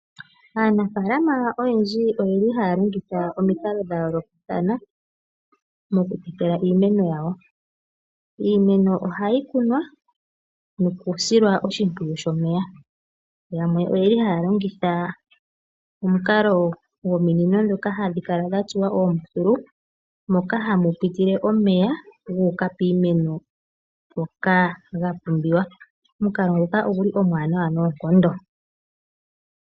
Aanafaalama oyendji oyeli haya longitha omikalo dha yoolokathana moku tekela iimeno yawo. Iimeno ohayi kunwa nokusilwa oshimpwuyu shomeya. Yamwe oyeli haya longitha omukalo gominino dhoka hadhi kala dhatsuwa oombululu moka hamu pitile omeya guuka piimeno ngoka ga pumbiwa, omukalo nguka oguli omwanawa noonkondo.